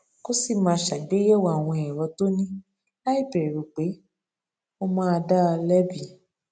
kó sì máa ṣàgbéyèwò àwọn èrò tó ní láìbèrù pé wón máa dá a lébi